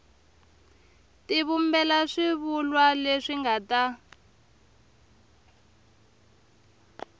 tivumbela swivulwa leswi nga ta